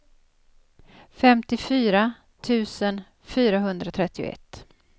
femtiofyra tusen fyrahundratrettioett